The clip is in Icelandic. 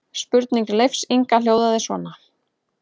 Spurning Leifs Inga hljóðaði svona: